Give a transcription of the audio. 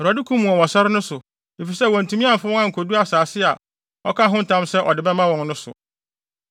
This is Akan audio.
‘ Awurade kum wɔn wɔ sare no so, efisɛ wantumi amfa wɔn ankodu asase a ɔkaa ho ntam sɛ ɔde bɛma wɔn no so.’